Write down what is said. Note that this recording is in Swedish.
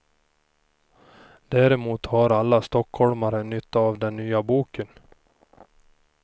Däremot har alla stockholmare nytta av den nya boken.